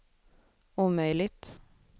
omöjligt